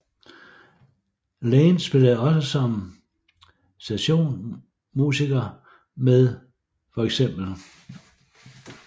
Lane spillede også som session musiker med feks